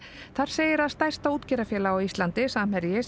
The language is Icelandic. þar segir að stærsta útgerðarfélag á Íslandi Samherji